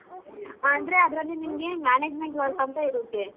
ಅಂದ್ರೆ ಅದ್ರಲ್ಲಿ ನಿಂಗೆ management work ಅಂತ ಇರತ್ತೆ.